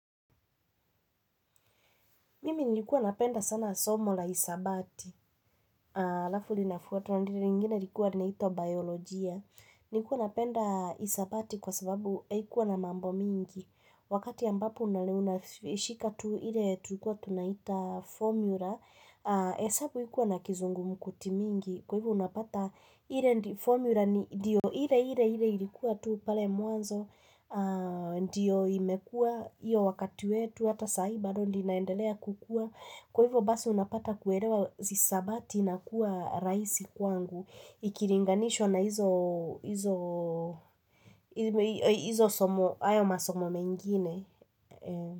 Mimi nilikuwa napenda sana somo la hisabati, halafu linafuatu, na lile lingine likuwa linaitwa biolojia. Nilikuwa napenda hisabati kwa sababu haikuwa na mambo mingi. Wakati ambapo unashika tu, ile tulikuwa tunaita formula, hesabu haikuwa na kizungumkuti mingi. Kwa hivyo unapata, ile formula ndiyo ile, ile ilikuwa tu, pale mwanzo, ndiyo imekua, iyo wakati wetu, hata saa hii bado ndiyo inaendelea kukuwa kwa hivyo basi unapata kuelewa hisabati inakuwa rahisi kwangu ikilinganishwa na hizo hizo somo hayo masomo mengine.